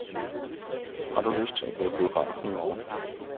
Har du lyst til at gå i biografen i morgen?